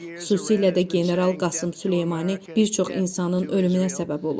Xüsusilə də general Qasım Süleymani bir çox insanın ölümünə səbəb olub.